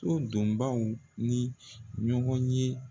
So donbaw ni ɲɔgɔn ye